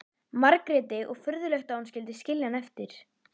Margréti og furðulegt að hún skyldi skilja hann eftir.